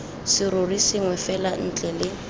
serori sengwe fela ntle le